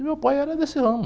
E meu pai era desse ramo.